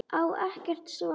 Á ekkert svar.